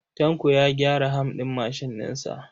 Tanko ya gyara ham ɗin mashin ɗin sa.